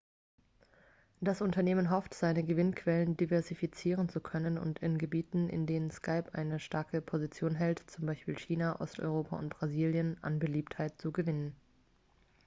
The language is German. das unternehmen hofft seine gewinnquellen diversifizieren zu können und in gebieten in denen skype eine starke position hält z. b. china osteuropa und brasilien an beliebtheit zu gewinnen